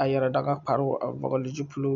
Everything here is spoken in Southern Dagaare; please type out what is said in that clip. a yɛre dagakproo a vɔgle zupile.